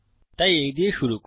তাই এই দিয়ে শুরু করি